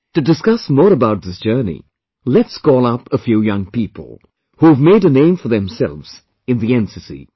To discuss more about this journey, let's call up a few young people, who have made a name for themselves in the NCC